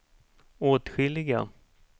åtskilliga